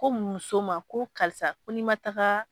Ko muso ma ko karisa ko ni ma taaga.